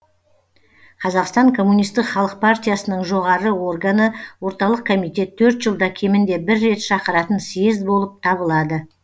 қазақстан коммунистік халық партиясының жоғары органы орталық комитет төрт жылда кемінде бір рет шақыратын съезд болып табылады